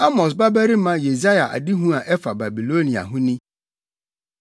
Amos babarima Yesaia adehu a ɛfa Babilonia ho ni: